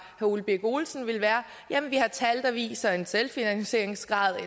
ole birk olesen vil være jamen vi har tal der viser en selvfinansieringsgrad på